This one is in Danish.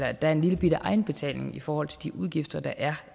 at der er en lillebitte egenbetaling i forhold til de udgifter der er